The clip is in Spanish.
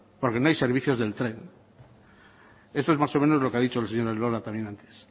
porque no hay servicios del tren eso es más o menos lo que ha dicho el señor elola también antes